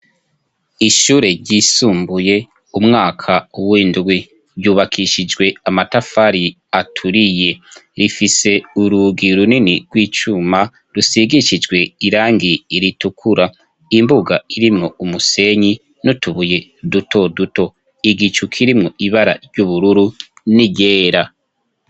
Ishure ryisumbuye, umwaka w'indwi ryubakishijwe amatafari aturiye. Rifise urugi runini rw'icuma rusigishijwe irangi ritukur. Imbuga irimwo umusenyi n'utubuye duto duto, igicu kirimo ibara ry'ubururu n'iryera.